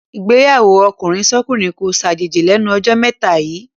Ìgbéyàwó ọkùnrinsọ́kùnrin kó ṣàjòjì lẹ́nu jọ́ mẹ́ta yíì.